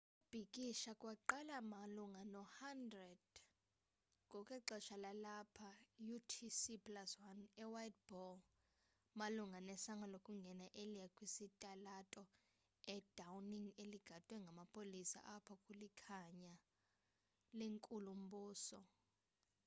ukubhikisha kwaqala malunga no-11:00 ngokwexesha lalapha utc+1 e whiteball malunga nesango lokungena eliya kwisitalato i downing eligadwe ngamapolisa apho kulikhaya lenkulu mbuso